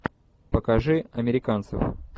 покажи американцев